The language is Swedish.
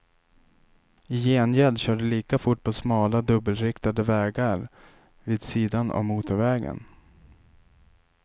I gengäld kör de lika fort på smala dubbelriktade vägar vid sidan av motorvägen.